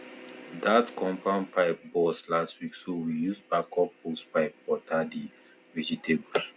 that compound pipe burst last week so we use backup hosepipe water the vegetables